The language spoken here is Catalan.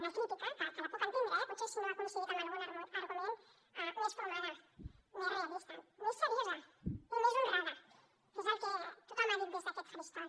una crítica que la puc entendre eh potser si no ha coincidit amb algun argument més formada més realista més seriosa i més honrada que és el que tothom ha dit des d’aquest faristol